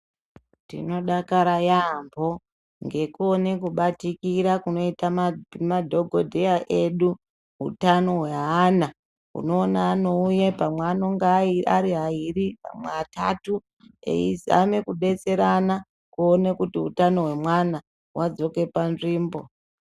Tinodakara yaampho ngekuona kubatikira kunoita madhokodheya edu utano hweana unoona anouye pamwe anenge aari ayiri panwe atatu eyizame kubetserana kuone kuti utano hweana wadzoke panzvimbo.